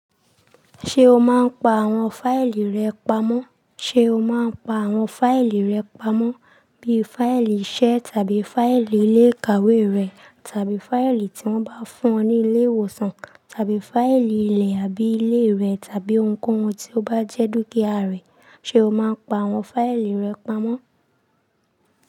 Ṣé o máa ń pa àwọn fáìlì rẹ pamọ́? Sé o máa ń pa àwọn fáìlì rẹ pamọ́, bíi fáìlì iṣẹ́ tàbí fáìlì ilé ìkàwé rẹ tàbí fáìlì tí wọ́n bá fún ọ ní ilé ìwòsàn tàbí fáìlì ilẹ̀ àbí ilé rẹ tàbí ohunkóhun tí ó bá jẹ́ dúkìá rẹ. Sé o máa ń pa àwọn fáìlì rẹ pamọ́?